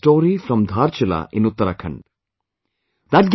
Recently I read a story from Dhaarchulaa in UttaraakhanD